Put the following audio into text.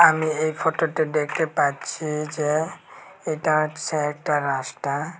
আমি এই ফটো -টে ডেকটে পাচ্ছি যে এটা হচ্ছে একটা রাস্তা।